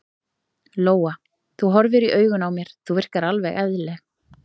Lóa: Þú horfir í augun á mér, þú virkar alveg eðlileg?